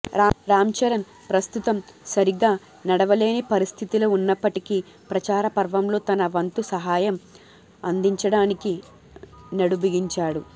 రామ్ చరణ్ ప్రస్తుతం సరిగా నడవలేని పరిస్థితిలో ఉన్నప్పటికీ ప్రచార పర్వంలో తన వంతు సహాయం అందించడానికి నడుంబిగించాడు